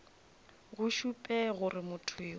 go šupe gore motho yo